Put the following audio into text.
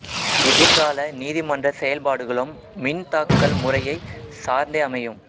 எதிர் கால நீதி மன்ற செயல்பாடுகளும் மின் தாக்கல் முறையை சார்ந்தே அமையும்